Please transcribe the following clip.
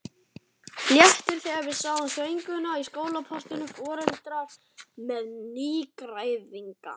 Léttir þegar við sjáum þvöguna í skólaportinu, foreldrar með nýgræðinga.